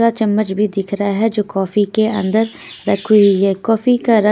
चम्मच भी दिख रहा है जो कॉफी के अंदर रखी हुई है कॉफी का रंग --